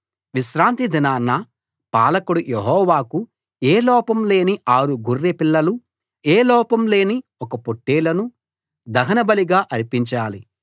విశ్రాంతి దినాన పాలకుడు యెహోవాకు ఏ లోపం లేని ఆరు గొర్రె పిల్లలు ఏ లోపం లేని ఒక పొట్టేలును దహనబలిగా అర్పించాలి